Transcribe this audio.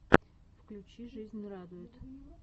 включи жизнь радует